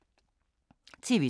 TV 2